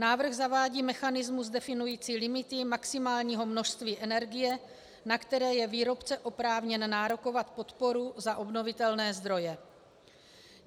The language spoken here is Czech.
Návrh zavádí mechanismus definující limity maximálního množství energie, na které je výrobce oprávněn nárokovat podporu za obnovitelné zdroje.